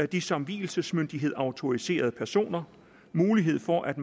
de som vielsesmyndighed autoriserede personer mulighed for at